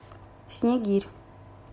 снегирь